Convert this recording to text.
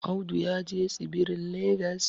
Audu ya je tsibirin legas